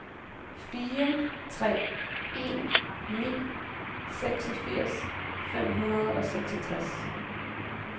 fire tre en ni seksogfirs fem hundrede og seksogtres